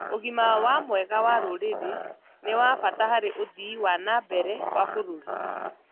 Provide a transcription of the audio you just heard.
ũgima wa mwega wa rũrĩrĩ nĩ wa bata harĩ ũthii wa nambere wa bũrũri